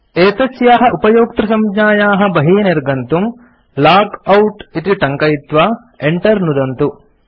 एतस्याः उपयोक्तृसंज्ञायाः बहिः निर्गन्तुं 160 लॉगआउट इति टङ्कयित्वा enter नुदन्तु